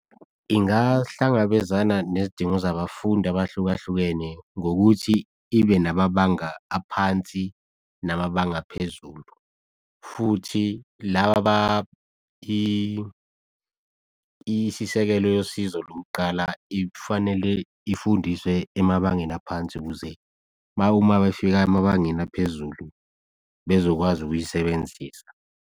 Ingahlangabezana nezidingo zabafundi abahlukahlukene, ngokuthi ilwe nababanga aphansi namabanga aphezulu. Futhi laba isisekelo yosizo lokuqala ifanele ifundiswe emabangeni aphansi ukuze uma befika emabangeni aphezulu bezokwazi ukuyisebenzisa.